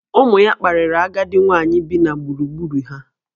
Ụmụ ya kparịrị agadi nwaanyị bi na gburugburu ha